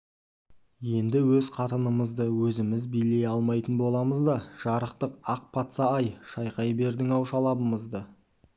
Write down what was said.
енді өз қатынымызды өзіміз билей алмайтын боламыз да жарықтық ақ патса-ай шайқай бердің-ау шалабымызды